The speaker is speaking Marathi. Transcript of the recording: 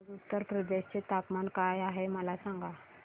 आज उत्तर प्रदेश चे तापमान काय आहे मला सांगा